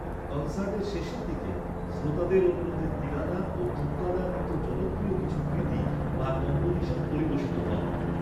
কনসার্টের শেষের দিকে, শ্রোতাদের অনুরোধে তিলানা ও থুক্কাদার মতো জনপ্রিয় কিছু ‘কৃতী’ বা কম্পোজিশন পরিবেশিত হয়।